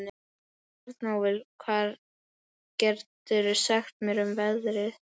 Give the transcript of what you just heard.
Bjarnólfur, hvað geturðu sagt mér um veðrið?